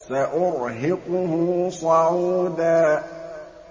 سَأُرْهِقُهُ صَعُودًا